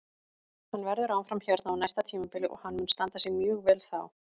Hann verður áfram hérna á næsta tímabili og hann mun standa sig mjög vel þá.